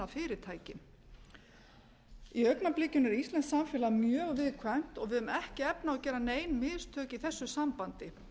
fyrirtækin í augnablikinu er íslenskt samfélag mjög viðkvæmt og við höfum ekki efni á að gera nein mistök í þessu sambandi